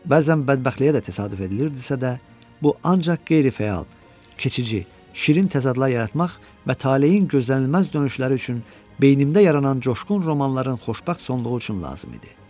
Bəzən bədbəxtliyə də təsadüf edilirdisə də, bu ancaq qeyri-fəal, keçici, şirin təzadlar yaratmaq və taleyin gözlənilməz dönüşləri üçün beynimdə yaranan coşqun romanların xoşbəxt sonluğu üçün lazım idi.